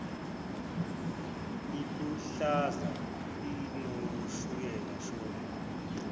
iluhlaza inoshukela shono